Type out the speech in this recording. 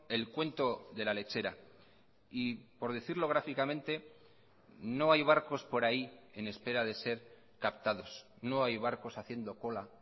el cuento de la lechera y por decirlo gráficamente no hay barcos por ahí en espera de ser captados no hay barcos haciendo cola